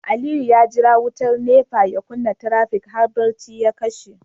Aliyu ya jira wutar NEPA ya kunna trafic har bacci ya kashe